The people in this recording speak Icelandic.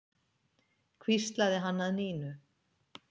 hvíslaði hann að Nínu.